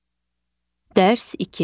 Dərs 2.